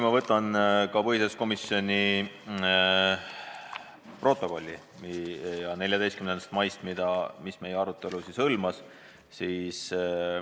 Ma võtan ette põhiseaduskomisjoni protokolli 14. maist, mis meie arutelu kajastab.